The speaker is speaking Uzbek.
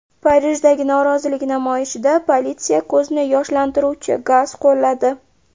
Parijdagi norozilik namoyishida politsiya ko‘zni yoshlantiruvchi gaz qo‘lladi.